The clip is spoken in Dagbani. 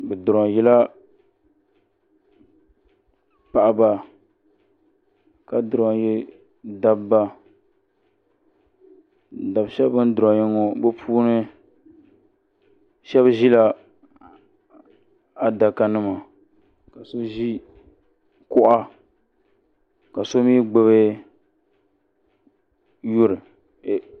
Be droyila paɣba ka droyi dabba dab shɛb beni droyi ŋɔ be puuni shɛb ʒila adaka nima ka so ʒi kuɣa ka so mi gbabi yuri